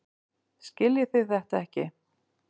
Skiljiði þetta ekki?